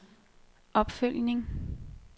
opfølgning